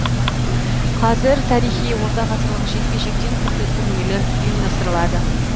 қазір тарихи орта ғасырлық жекпе жектен түрлі турнирлер ұйымдастырылады